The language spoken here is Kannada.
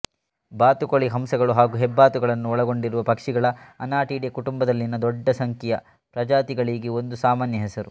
ಬಾತುಕೋಳಿ ಹಂಸಗಳು ಹಾಗು ಹೆಬ್ಬಾತುಗಳನ್ನೂ ಒಳಗೊಂಡಿರುವ ಪಕ್ಷಿಗಳ ಅನಾಟಿಡೆ ಕುಟುಂಬದಲ್ಲಿನ ದೊಡ್ಡ ಸಂಖ್ಯೆಯ ಪ್ರಜಾತಿಗಳಿಗೆ ಒಂದು ಸಾಮಾನ್ಯ ಹೆಸರು